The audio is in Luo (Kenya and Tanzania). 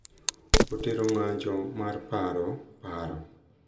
Otero ng’anjo mar paro, paro,